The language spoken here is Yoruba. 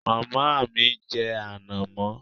Màmá ń jẹ ànàmọ́